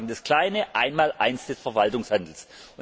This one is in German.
Das ist sozusagen das kleine Einmaleins des Verwaltungshandelns.